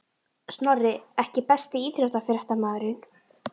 Snorri EKKI besti íþróttafréttamaðurinn?